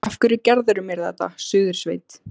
Af hverju gerirðu mér þetta, Suðursveit!